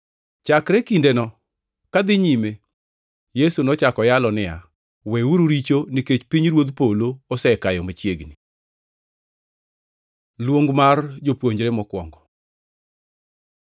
Chakre kindeno kadhi nyime, Yesu nochako yalo niya, “Weuru richo nikech pinyruodh polo osekayo machiegni.” Luong mar jopuonjre mokwongo